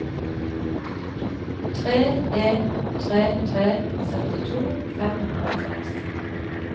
tre en tre tre syttito fem hundre og seks